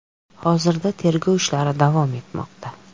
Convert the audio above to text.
Hozirda tergov ishlari davom etmoqda.